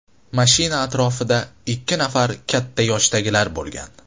Mashina atrofida ikki nafar katta yoshdagilar bo‘lgan.